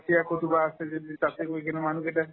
চিয়া ক'ৰবাত আছে যদি তাতে গৈ কিনাই মানুহকেইটাই